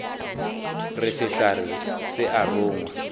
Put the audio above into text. re sehlare se a rongwa